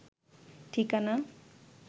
ঠিকানা